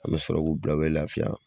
An mɛ sɔrɔ k'u bila u bɛ laafiya.